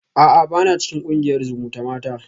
A'a bana cikin kungiyar zumutamata